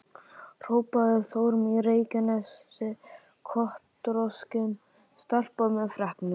hrópaði Þórunn í Reykjanesi, kotroskin stelpa með freknur.